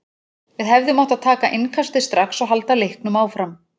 Við hefðum átt að taka innkastið strax og halda leiknum áfram.